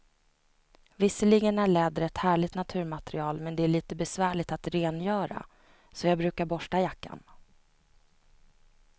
Visserligen är läder ett härligt naturmaterial, men det är lite besvärligt att rengöra, så jag brukar borsta jackan.